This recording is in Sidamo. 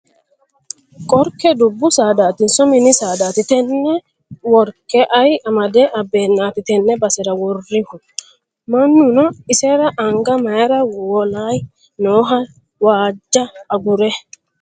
Qorkke dubbu saadatinso mini saadati? Tenne worke ayi amade abbeennati tenne basera worrihu? Mannuno isera anga mayiira wolayi nooho waajja agure?